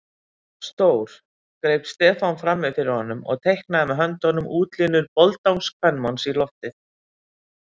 Stór. greip Stefán frammi fyrir honum og teiknaði með höndunum útlínur boldangskvenmanns í loftið.